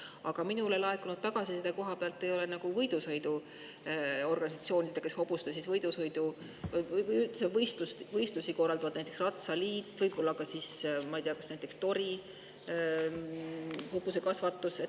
Aga minule laekunud tagasiside kohaselt ei ole te rääkinud organisatsioonidega, kes hobuste võidusõite või üldse võistlusi korraldavad, näiteks ratsaliidu ja võib-olla ka Tori hobusekasvandusega.